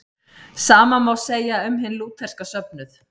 Sama má segja um hinn lútherska söfnuð.